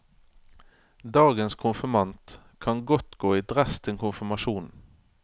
Dagens konfirmant kan godt gå i dress til konfirmasjonen.